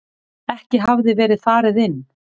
Ekki hafði verið farið inn.